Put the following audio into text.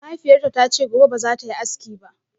Mahaifiyarta ta ce gobe ba za ta yi aski ba